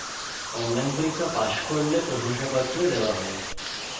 যারা online পরীক্ষা pass করে তাদের প্রশংসাপত্র দেওয়া হয়